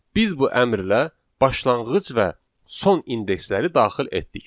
Biz bu əmrlə başlanğıc və son indeksləri daxil etdik.